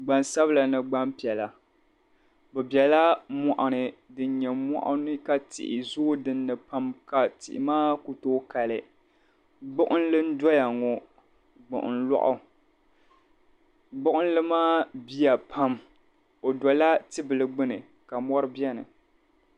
Gban sabila ni gban piɛla bɛ bela mɔɣini din nyɛ mɔɣini ka tihi zoo dini pam ka tihi maa ku too kali gbuɣinli n doya ŋɔ gbuɣin lɔɣu gbuɣinli maa biya pam ɔdola tibili gbuni ka mɔri beni.